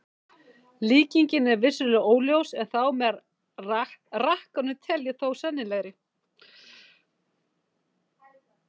Líkingin er vissulega óljós en þá með rakkanum tel ég þó sennilegri.